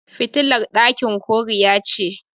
fitilar dakin koriya ce